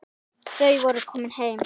Þau voru komin heim.